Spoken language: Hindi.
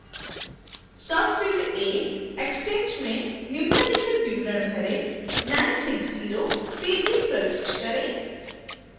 सबफिल्ड a extent में निम्नलिखित विवरण भरें 960 pages प्रविष्ट करें